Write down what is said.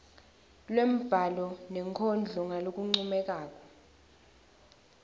lwembhalo nenkondlo ngalokuncomekako